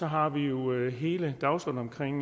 har vi jo hele dagsordenen